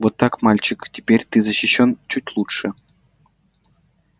вот так мальчик теперь ты защищён чуть лучше